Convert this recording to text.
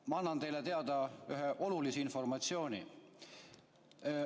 Ma annan teile teada ühe olulise informatsiooni.